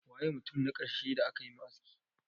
Waye mutum na karshe da aka yi ma aski?